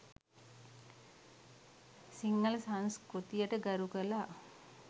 සිංහල සංස්කෘතියට ගරුකළා.